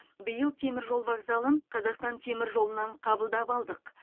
биыл теміржол вокзалын қазақстан теміржолынан қабылдап алдық